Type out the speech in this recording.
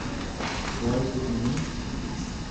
Dvajset minut?